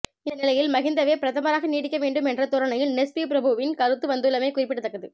இந்த நிலையில் மகிந்தவே பிரதமராக நீடிக்கவேண்டும் என்ற தோரணையில்நெஸ்பி பிரபுவின் கருத்துவந்துள்ளமை குறிப்பிடத்தக்கது